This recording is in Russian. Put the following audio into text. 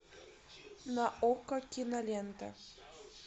на окко кинолента